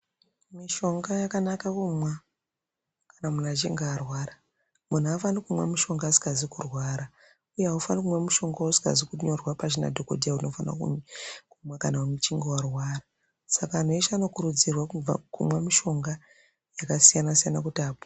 Mishonga yakanaka kumwa kana muntu achinge arwara muntu aafani kumwe mushonga asikazi kurwara uye aufaniri kumwa mushonga usikazi kunyorerwa pashi nadhokodheya unofana kumwa kana uchinge arwara saka antu eshe anokurudzirwa kumwa mishonga yakasiyana siyana kuti apore.